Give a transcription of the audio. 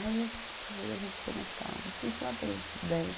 Aí a gente ficou mais calma, sei lá, pelos dez